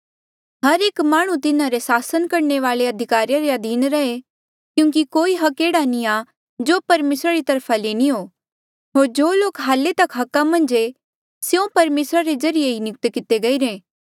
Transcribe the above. हर एक माह्णुं तिन्हारे सासन करणे वाले अधिकारिया रे अधीन रहे क्यूंकि कोई अधिकार एह्ड़ा नी आ जो परमेसरा री तरफा ले नी हो होर जो लोक हाल्ले अधिकार मन्झ ऐें स्यों परमेसरा रे ज्रीए ही नियुक्त किते गईरे